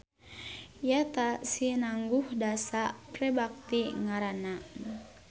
Ya ta sinangguh dasa prebakti ngaranna.